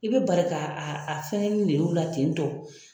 I bɛ bari ka a a fɛngɛninw ne ye u la tentɔ.